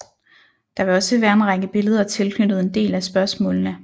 Der vil også være en række billeder tilknyttet en del af spørgsmålene